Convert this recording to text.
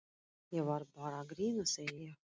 Ég var bara að grínast, segi ég.